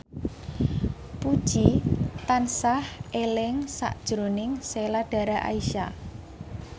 Puji tansah eling sakjroning Sheila Dara Aisha